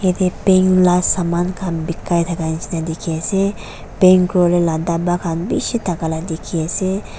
yatae paint la saman khan bikai thaka dikhiase paint kuriwolaela dapa khan bishi thaka la dikhiase.